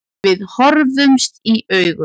Við horfðumst í augu.